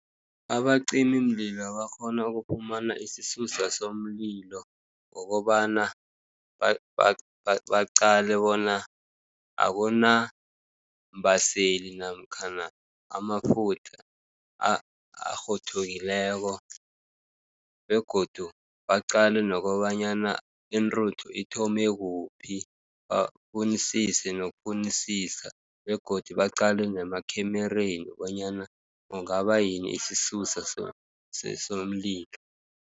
Abacimimlilo bakghona ukufumana isisusa somlilo, ngokobana baqale bona akunambaseeli namkhana amafutha arhuthukileko, begodu baqale nokobanyana intruthu ithome kuphi. Bafunisise nokufunisisa, begodu baqale nemakhemereni bonyana kungabayini isisusa somlilo.